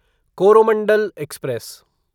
Coromandel express